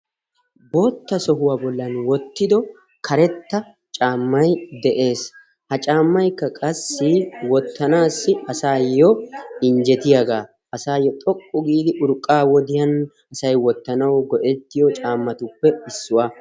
Bootta sohuwa bollan wottido karetta caammay beettees. Ha caammaykka qassi wottanaassi asawu injjetiyagaa, asaayyo xoqqu giidi urqqaa wodiyan wottanaayyo maadees.